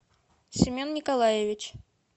семен николаевич